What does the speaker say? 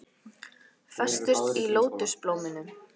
Festust í lótusblóminu